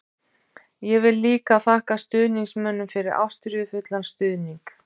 Ég vil líka þakka stuðningsmönnum fyrir ástríðufullan stuðning.